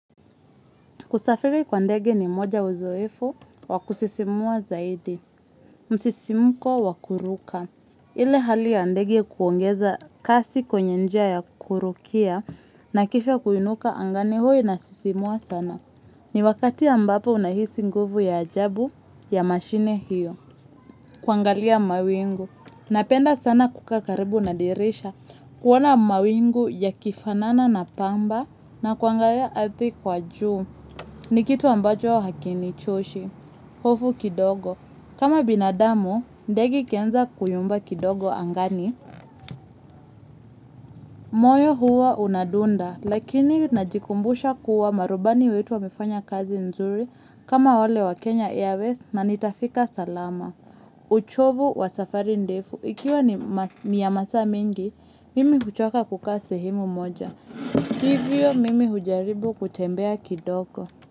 Kusafiri kwa ndege ni moja uzoefu wa kusisimua zaidi. Msisimuko wa kuruka. Ile hali ya ndege kuongeza kasi kwenye njia ya kurukia na kisha kuinuka angani huwa inasisimua sana. Ni wakati ambapo unahisi nguvu ya ajabu ya mashine hiyo. Kuangalia mawingu. Napenda sana kukaa karibu na dirisha. Kuona mawingu yakifanana na pamba na kuangalia ardhi kwa juu. Ni kitu ambacho hakinichoshi, hofu kidogo. Kama binadamu, ndege ikianza kuyumba kidogo angani. Moyo huwa unadunda, lakini najikumbusha kuwa marubani wetu wamefanya kazi nzuri kama wale wa Kenya Airways na nitafika salama. Uchovu wa safari ndefu, ikiwa ni ya masaa mengi, mimi huchoka kukaa sehemu moja. Hivyo mimi hujaribu kutembea kidogo.